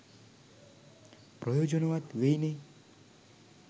ප්‍රයෝජනවත් වෙයිනේ